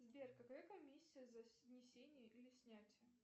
сбер какая комиссия за внесение или снятие